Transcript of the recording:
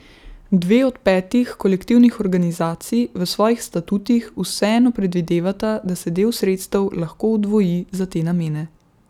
Dve od petih kolektivnih organizacij v svojih statutih vseeno predvidevata, da se del sredstev lahko oddvoji za te namene.